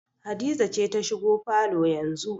Hadiza ce za ta shigo falo yanzu